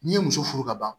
N'i ye muso furu ka ban